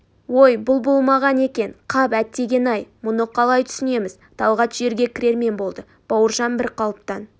ой бұл болмаған екен қап әттеген-ай мұны қалай түсінеміз талғат жерге кірермен болды бауыржан бір қалыптан